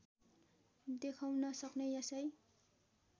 देखाउन सक्ने यसै